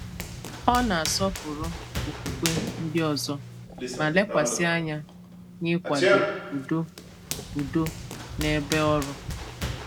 Ọ̀ na-asọ̀pụrụ okwùkwè ndị òzò, ma lekwàsị anya n’ịkwàdò ùdò ùdò n’èbè ọrụ.